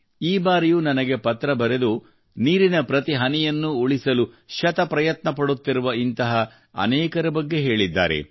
ಈ ಬಾರಿಯೂ ನನಗೆ ಪತ್ರ ಬರೆದು ನೀರಿನ ಪ್ರತಿ ಹನಿಯನ್ನೂ ಉಳಿಸಲು ಶತಪ್ರಯತ್ನ ಪಡುತ್ತಿರುವ ಇಂತಹ ಅನೇಕರ ಬಗ್ಗೆ ಹೇಳಿದ್ದಾರೆ